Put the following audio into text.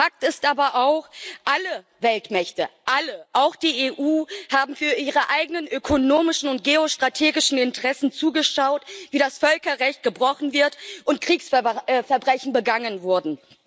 Fakt ist aber auch Alle Weltmächte, alle, auch die EU, haben für ihre eigenen ökonomischen und geostrategischen Interessen zugeschaut, wie das Völkerrecht gebrochen wurde und Kriegsverbrechen begangen wurden.